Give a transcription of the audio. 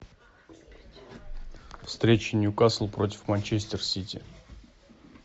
встреча ньюкасл против манчестер сити